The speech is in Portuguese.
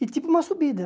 E tipo uma subida.